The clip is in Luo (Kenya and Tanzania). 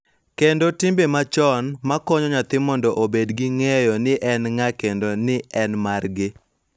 Kendo timbe machon, ma konyo nyathi mondo obed gi ng�eyo ni en ng�a kendo ni en margi.